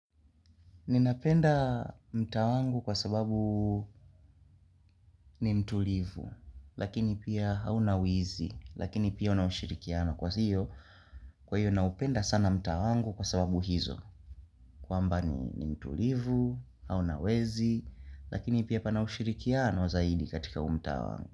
Ninapenda mtaa wangu kwa sababu ni mtulivu, lakini pia haunawizi, lakini pia unaushirikiano kwa hiyo, kwa hiyo naupenda sana mtaa wangu kwa sababu hizo, kwamba ni mtulivu, haunawezi, lakini pia panaushirikiano zaidi katika huu mta wangu.